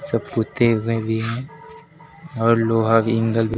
सब पुते हुए भी हैं और लोहा भी ऐंगल भी--